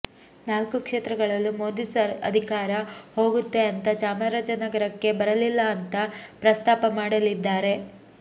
ನಾಲ್ಕು ಕ್ಷೇತ್ರಗಳಲ್ಲೂ ಮೋದಿ ಅಧಿಕಾರ ಹೋಗುತ್ತೆ ಅಂತಾ ಚಾಮರಾಜನಗರಕ್ಕೆ ಬರಲಿಲ್ಲಾ ಅಂತಾ ಪ್ರಸ್ತಾಪ ಮಾಡಲಿದ್ದಾರೆ